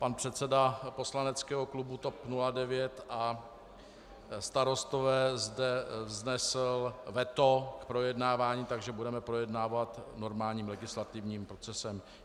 Pan předseda poslaneckého klubu TOP 09 a Starostové zde vznesl veto k projednávání, takže budeme projednávat normálním legislativním procesem.